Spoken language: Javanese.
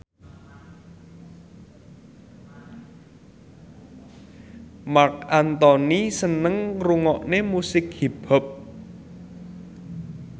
Marc Anthony seneng ngrungokne musik hip hop